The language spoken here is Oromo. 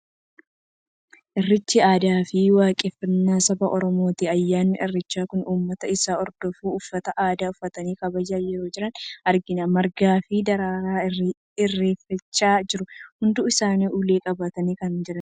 Irreechi aadaa fi waaqeffannaa saba Oromooti. Ayyaanni Irreechaa kun uummata isa hordofuun, uffata aadaa uffatanii kabajaa yeroo jiran argina. Margaa fi daraaraan irreeffachaa jiru. Hundi isaanii ulee qabatanii kan jiranidha.